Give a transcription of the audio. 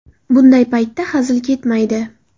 Bunday paytda hazil ketmaydi.